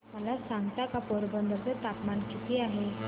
मला सांगता का पोरबंदर चे तापमान किती आहे